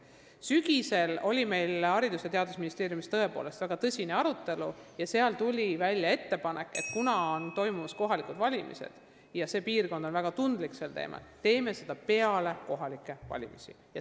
Sügisel oli meil Haridus- ja Teadusministeeriumis väga tõsine arutelu, kus esitati uus ettepanek: kuna toimuvad kohalikud valimised ja kõnealune piirkond on väga tundlik, teeme konkursi pärast kohalikke valimisi.